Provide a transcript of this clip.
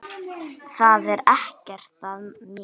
Það er ekkert að mér!